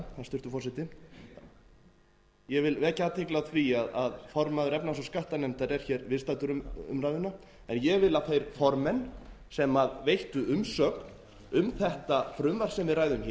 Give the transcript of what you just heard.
hæstvirtur forseti ég vil vekja athygli á því að formaður efnahags og skattanefndar er hér viðstaddur umræðuna en ég vil að þeir formenn sem veittu umsögn um þetta frumvarp sem við ræðum